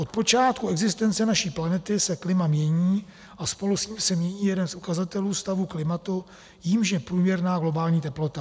Od počátku existence naší planety se klima mění a spolu s ním se mění jeden z ukazatelů stavu klimatu, jímž je průměrná globální teplota.